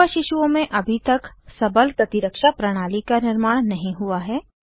युवा शिशुओं में अभी तक सबल प्रतिरक्षा प्रणाली का निर्माण नहीं हुआ है